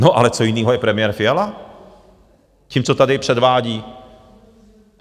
No, ale co jiného je premiér Fiala tím, co tady předvádí?